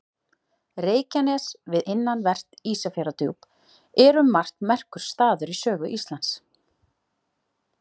Reykjanes við innanvert Ísafjarðardjúp er um margt merkur staður í sögu Íslands.